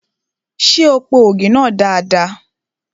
Ṣé o po ògì náà dada?